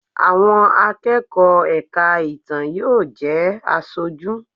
Àwọn akẹ́kọ̀ọ́ ẹ̀ka ìtàn yóò jẹ́ Aṣojú.